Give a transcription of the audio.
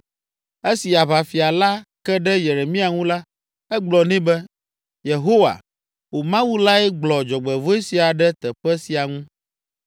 Esi aʋafia la ke ɖe Yeremia ŋu la, egblɔ nɛ be, “Yehowa, wò Mawu lae gblɔ dzɔgbevɔ̃e sia ɖe teƒe sia ŋu.